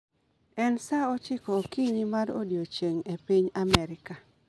En saa ochiko okinyi mar odiechieng' e piny Amerka.